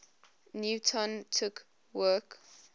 newton took work